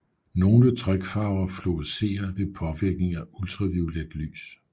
Nogle trykfarver fluorescerer ved påvirkning af ultraviolet lys